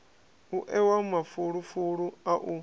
u ewa mafulufulu a u